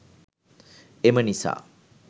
එම නිසා